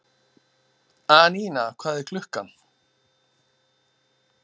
Anína, hvað er klukkan?